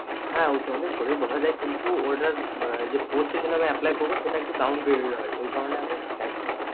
হা উচ্চ মাধ্যমিকের পরে বসা যায় কিন্তু ওটার যে post এর জন্য apply যে করবো সেটা একটু down grade এর হয় ওই কারণে আমি চাইছি না